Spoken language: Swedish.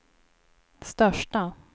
största